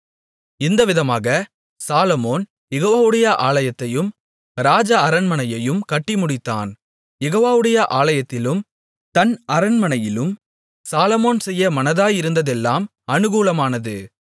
இந்தவிதமாக Solomon யெகோவாவுடைய ஆலயத்தையும் ராஜ அரண்மனையையும் கட்டி முடித்தான் யெகோவாவுடைய ஆலயத்திலும் தன் அரண்மனையிலும் சாலொமோன் செய்ய மனதாயிருந்ததெல்லாம் அனுகூலமானது